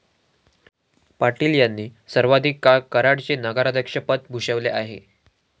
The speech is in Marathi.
पाटील यांनी सर्वाधिक काळ कराड चे नगराध्यक्षपद भूषवले आहे.